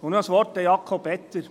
Und noch ein Wort an Jakob Etter.